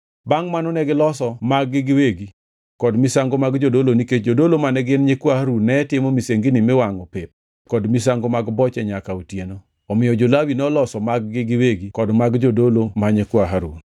Bangʼ mano negiloso mag-gi giwegi kod misango mag jodolo nikech jodolo mane gin Nyikwa Harun ne timo misengini miwangʼo pep kod misango mag boche nyaka otieno, omiyo jo-Lawi noloso mag-gi giwegi kod mag jodolo ma nyikwa Harun.